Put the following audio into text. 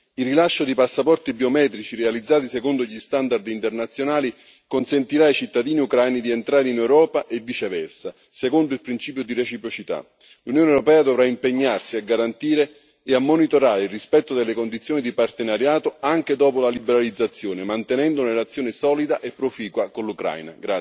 Il rilascio di passaporti biometrici realizzati secondo gli standard internazionali consentirà ai cittadini ucraini di entrare in Europa e viceversa, secondo il principio di reciprocità. L'Unione europea dovrà impegnarsi a garantire e a monitorare il rispetto delle condizioni di partenariato anche dopo la liberalizzazione, mantenendo una relazione solida e proficua con l'Ucraina.